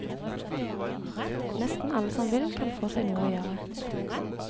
Nesten alle som vil, kan få seg noe å gjøre.